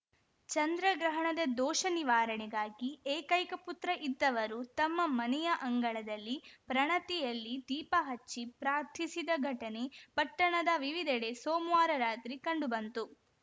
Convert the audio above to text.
ಚಂದ್ರ ಗ್ರಹಣದ ದೋಷ ನಿವಾರಣೆಗಾಗಿ ಏಕೈಕ ಪುತ್ರ ಇದ್ದವರು ತಮ್ಮ ಮನೆಯ ಅಂಗಳದಲ್ಲಿ ಪ್ರಣತಿಯಲ್ಲಿ ದೀಪ ಹಚ್ಚಿ ಪ್ರಾರ್ಥಿಸಿದ ಘಟನೆ ಪಟ್ಟಣದ ವಿವಿಧೆಡೆ ಸೋಮ್ವಾರ ರಾತ್ರಿ ಕಂಡು ಬಂತು